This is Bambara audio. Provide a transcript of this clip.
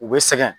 U bɛ sɛgɛn